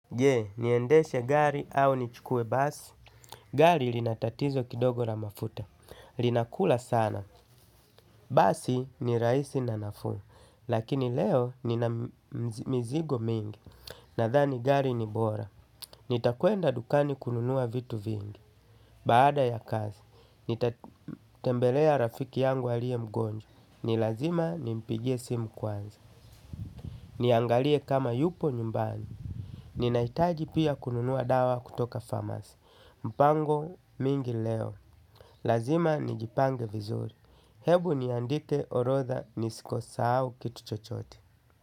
Je, niendeshe gari au nichukue basi. Gari lina tatizo kidogo la mafuta. Linakula sana. Basi ni rahisi na nafuu. Lakini leo nina mizigo mingi. Nadhani gari ni bora. Nitakuenda dukani kununua vitu vingi. Baada ya kazi. Nitatembelea rafiki yangu aliye mgonjwa. Ni lazima nimpigie simu kwanza. Niangalie kama yupo nyumbani. Ninahitaji pia kununua dawa kutoka pharmacy. Mpango mingi leo, lazima nijipange vizuri, hebu niandike orodha nisikosahau u kitu chochote.